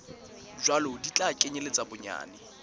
jwalo di tla kenyeletsa bonyane